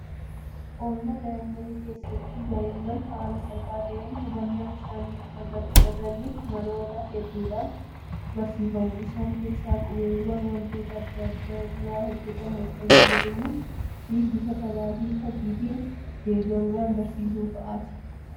Oolmaa daa'immanii keessatti daa'imman haala salphaa ta'een hubannaa isaanii akka gabbifataniif maloota hedduudhaan barsiifamu. Isaan keessaa qubeewwan waantota adda addaa irraa hojjetaman fayyadamuufi bifa taphaafi fakkiitiin deeggaruudhaan barsiisuu fa'aati. Barattoonni Haala kala kanaan baratanis fayyadamoo ta'aniiru.